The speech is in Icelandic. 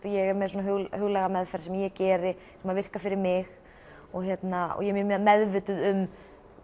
ég er með huglæga meðferð sem ég geri sem virkar fyrir mig og ég er meðvituð um